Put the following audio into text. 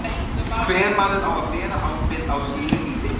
Hver maður á að bera ábyrgð á sínu eigin lífi.